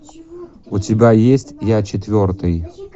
у тебя есть я четвертый